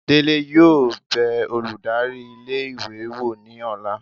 Dele yóò be olùdarí ilé ìwé wọ ní ọla